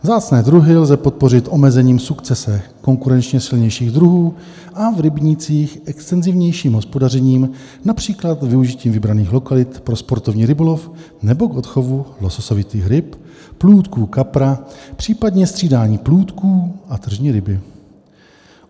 Vzácné druhy lze podpořit omezením sukcese konkurenčně silnějších druhů a v rybnících extenzivnějším hospodařením, například využitím vybraných lokalit pro sportovní rybolov nebo k odchovu lososovitých ryb, plůdku kapra, případně střídání plůdku a tržní ryby.